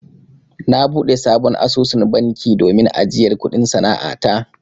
Na buɗe sabon asusun banki domin ajiyar kuɗin sana'a ta.